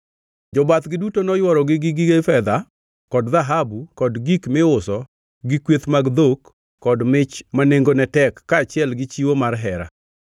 Jobathgi duto noyworogi gi gige fedha kod dhahabu, kod gik miuso gi kweth mag dhok, kod mich ma nengone tek, kaachiel gi chiwo mar hera.